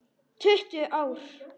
Tuttugu ár!